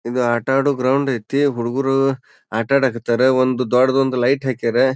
ಇದು ಆಟ ಆಡೋ ಗ್ರೌಂಡ್ ಐತಿ. ಹುಡುಗರು ಆಟ ಆಡಾಕತ್ತಾರ. ಒಂದು ದೊಡ್ಡದೊಂದು ಲೈಟ್ ಹಾಕ್ಯಾರ.